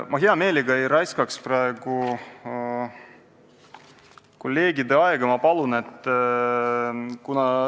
Ma hea meelega ei raiskaks praegu kolleegide aega seda infot otsides.